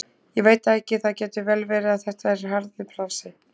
Ég veit það ekki, það getur vel verið en þetta er harður bransi.